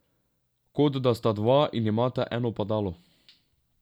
Kot da sta dva in imata eno padalo.